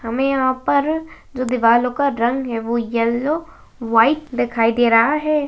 हमें यहाँ पर जो दिवलो का रंग है वो यल्लो वाइट दिखाई दे रहा है।